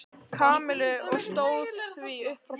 Kamillu og stóð því upp frá borðinu.